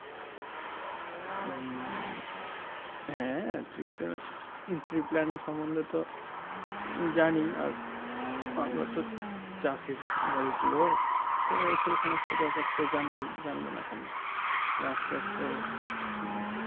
হ্যাঁ tree plant tree plant এর সমন্ধে তো জানি। আর আমরা তো চাষীর বাড়ির লোক, তো সে সমস্ত ব্যাপার তো জানবোই। জানবো না কেন? গাছ টাছ তো উম